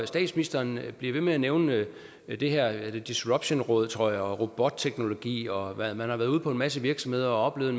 statsministeren bliver ved med at nævne det her disruptionråd tror jeg og robotteknologi og at man har været ude på en masse virksomheder og oplevet